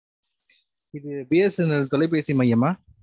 இது BSNL தொலைபேசி மையம் மா?